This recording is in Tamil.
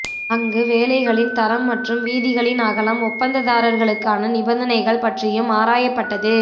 அங்கு வேலைகளின் தரம் மற்றும் வீதிகளின் அகலம் ஒப்பந்ததாரர்களுக்கான நிபந்தனைகள் பற்றியும் ஆராயப்பட்டது